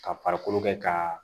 Ka farikolo kɛ ka